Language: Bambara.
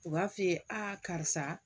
U b'a f'i ye a karisa